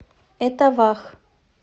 этавах